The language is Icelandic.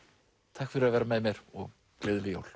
takk fyrir að vera með mér og gleðileg jól